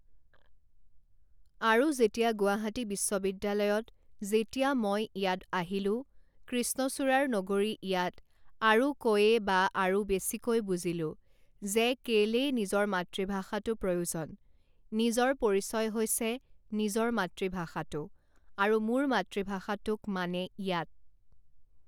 আৰু যেতিয়া গুৱাহাটী বিশ্ববিদ্যালয়ত যেতিয়া মই ইয়াত আহিলোঁ, কৃষ্ণচূড়াৰ নগৰী ইয়াত আৰু কৈয়ে বা আৰু বেছিকৈ বুজিলোঁ যে কেলেই নিজৰ মাতৃভাষাটো প্ৰয়োজন, নিজৰ পৰিচয় হৈছে নিজৰ মাতৃভাষাটো আৰু মোৰ মাতৃভাষাটোক মানে ইয়াত